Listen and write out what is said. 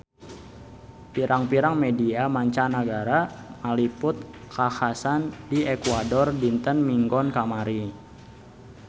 Pirang-pirang media mancanagara ngaliput kakhasan di Ekuador dinten Minggon kamari